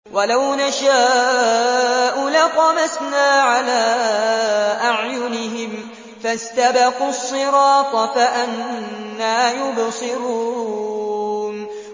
وَلَوْ نَشَاءُ لَطَمَسْنَا عَلَىٰ أَعْيُنِهِمْ فَاسْتَبَقُوا الصِّرَاطَ فَأَنَّىٰ يُبْصِرُونَ